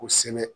Kosɛbɛ